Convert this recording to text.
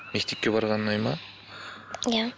мектепке барған ұнайды ма иә